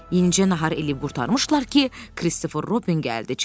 Yenincə nahar eləyib qurtarmışdılar ki, Kristofer Robin gəlib çıxdı.